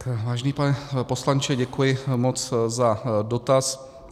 Vážený pane poslanče, děkuji moc za dotaz.